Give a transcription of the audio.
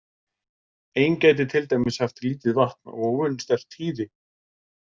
Ein gæti til dæmis haft lítið vatn og óvenju sterkt hýði.